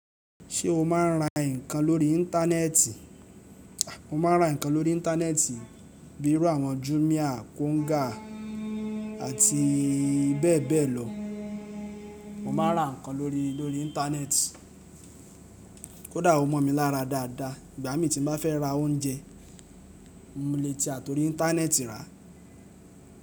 Ṣé o máa ń ra nǹkan lórí Íńtánẹ́ẹ̀tì? Mo máa ń ra nǹkan lórí Íńtánẹ́ẹ̀tì bíi irú àwọn Jumia, Konga àti bẹ́ẹ̀ bẹ́ẹ̀ lọ. Mo máa ra nǹkan lórí, lórí Íńtánẹ́ẹ̀tì. Kódà o mọ̀ mi lára dáadáa, ìgbà mí tí mo bá fẹ́ ra oúnjẹ, mo lè tì atorí Íńtánẹ́ẹ̀tì rà.